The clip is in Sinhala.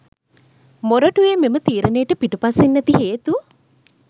මොරටුවේ මෙම තීරණයට පිටුපසින් ඇති හේතු